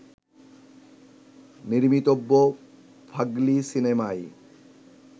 নির্মিতব্য ফাগলি সিনেমায়